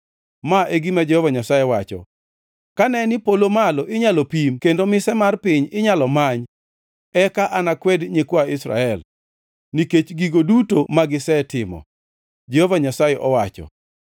Ma e gima Jehova Nyasaye wacho: “Kane ni polo malo inyalo pim kendo mise mar piny inyalo many, eka anakwed nyikwa Israel nikech gigo duto magisetimo,” Jehova Nyasaye wacho.